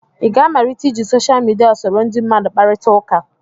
ị ga-amalite iji social media soro ndị mmadụ kparịta ụka